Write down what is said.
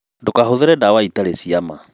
Ndũkahũthĩre ndawa itarĩ cia mà